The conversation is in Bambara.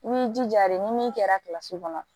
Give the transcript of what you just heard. I b'i jija de ni min kɛra kilasi kɔnɔ